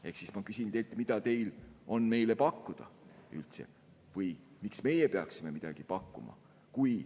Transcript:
Ehk siis ma küsin teilt, mida teil on meile pakkuda üldse või miks meie peaksime midagi pakkuma.